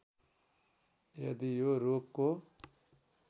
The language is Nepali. यदि यो रोगको